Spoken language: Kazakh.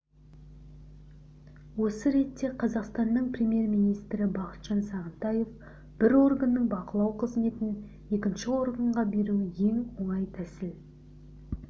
осы ретте қазақстанның премьер-министрі бақытжан сағынтаев бір органның бақылау қызметін екінші органға беру ең оңай тәсіл